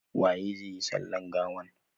Waye zai yi sallan gawan?